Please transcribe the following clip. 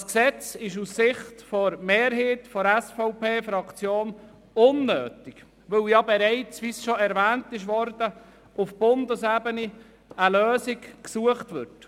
Das Gesetz ist aus Sicht der Mehrheit der SVP-Fraktion unnötig, weil bereits auf Bundesebene eine Lösung gesucht wird, wie schon erwähnt wurde.